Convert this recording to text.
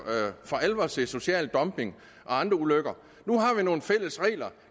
alvor se social dumping og andre ulykker nu har vi nogle fælles regler